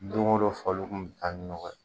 Don go don faliw kun mi taa ni nɔgɔ ye.